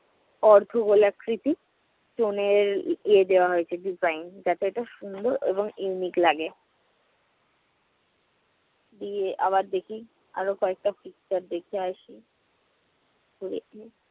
অর্ধগোল আকৃতি stone এর ইয়ে দেওয়া হয়েছে design যাতে একটা সুন্দর এবং unique লাগে। ইয়ে আবার দেখি, আর কয়েকটা picture দেখে আসি